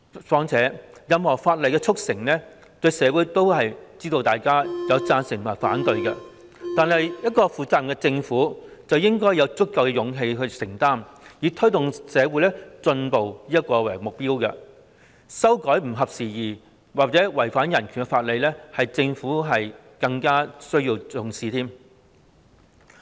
況且，對於任何法例的促成，社會上總會有贊成和反對意見，但負責任的政府應有足夠的勇氣作出承擔，以推動社會進步為目標，修改不合時宜或違反人權的法例，這是政府需要更加重視的一環。